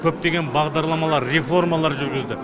көптеген бағдарламалар реформалар жүргізді